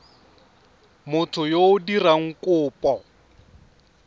motho yo o dirang kopo